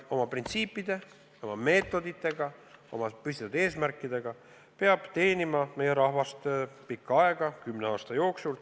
Oma printsiipide, oma meetoditega, oma püstitatud eesmärkidega peab see teenima meie rahvast pikka aega, kümne aasta jooksul.